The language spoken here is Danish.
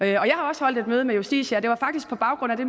jeg har også holdt et møde med justitia og det var faktisk på baggrund af det